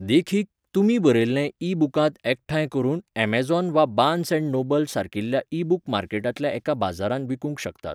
देखीक, तुमी बरयल्लें ईबुकांत एकठांय करून ऍमेझॉन वा बार्न्स अँड नोबल्स सारकिल्या ईबूक मार्केटांतल्या एका बाजारांत विकूंक शकतात.